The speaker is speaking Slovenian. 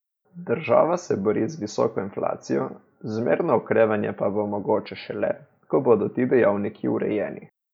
Država se bori z visoko inflacijo, zmerno okrevanje pa bo mogoče šele, ko bodo ti dejavniki urejeni.